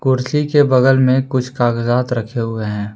कुर्सी के बगल में कुछ कागजात रखे हुए हैं।